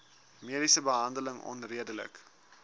mediese behandeling onredelik